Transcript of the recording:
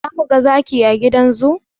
Za mu ga zaki a gidan zoo?